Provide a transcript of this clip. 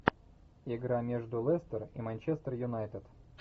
игра между лестер и манчестер юнайтед